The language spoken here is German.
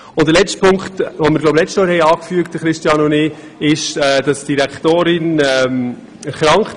Noch zu einem letzten Punkt, den Christian Hadorn und ich im letzten Jahr erwähnt hatten.